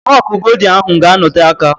Fọk goldin ahụ ga-anote aka